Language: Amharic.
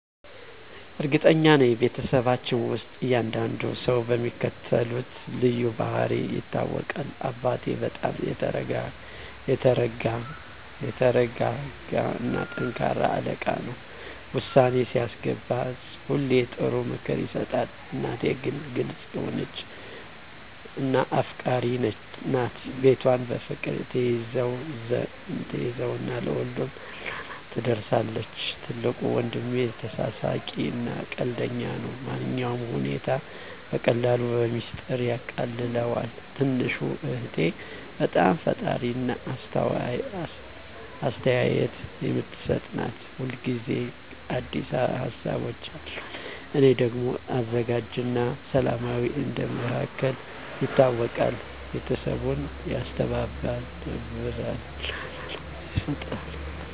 እርግጠኛ ነኝ፤ በቤተሰባችን ውስጥ እያንዳንዱ ሰው በሚከተሉት ልዩ ባህሪያት ይታወቃል - አባቴ በጣም የተረጋ እና ጠንካራ አለቃ ነው። ውሳኔ ሲያስገባ ሁሌ ጥሩ ምክር ይሰጣል። እናቴ ግልጽ የሆነች እና አፍቃሪች ናት። ቤቷን በፍቅር ትያዘው እና ለሁሉም እርዳታ ትደርሳለች። ትልቁ ወንድሜ ተሳሳቂ እና ቀልደኛ ነው። ማንኛውንም ሁኔታ በቀላሉ በሚስጥር ያቃልለዋል። ትንሹ እህቴ በጣም ፈጣሪ እና አስተያየት የምትሰጥ ናት። ሁል ጊዜ አዲስ ሀሳቦች አሉት። እኔ ደግሞ አዘጋጅ እና ሰላማዊ እንደ መሃከል ይታወቃለሁ። ቤተሰቡን ያስተባብራል እና ሰላም ይፈጥራል። ይህ ልዩነት ቤተሰባችንን የበለጠ ያስተባብራል እና ልዩ ያደርገዋል።